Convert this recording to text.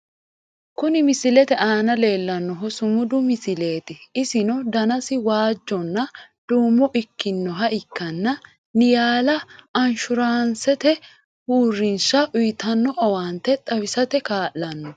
kuni misilete aana leellannohu sumudu misileeti, isino danasi waajjonna duumo ikkinoha ikkanna , niyala anshuuraancete uurrinsha uyiitanno owaante xawisate kaa'lanno.